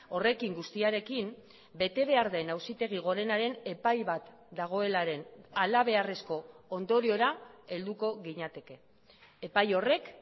horrekin guztiarekin bete behar den auzitegi gorenaren epai bat dagoelaren halabeharrezko ondoriora helduko ginateke epai horrek